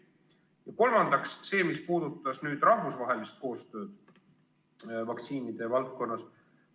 Ja kolmandaks see, mis puudutab rahvusvahelist koostööd vaktsiinide valdkonnas.